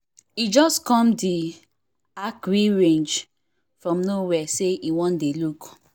e just come the archery range from no where say e wan dey look